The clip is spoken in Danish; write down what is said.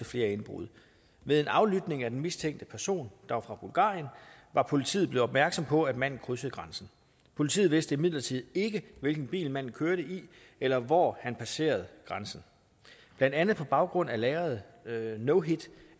flere indbrud ved en aflytning af den mistænkte person der var fra bulgarien var politiet blevet opmærksom på at manden krydsede grænsen politiet vidste imidlertid ikke hvilken bil manden kørte i eller hvor han passerede grænsen blandt andet på baggrund af lagrede no hit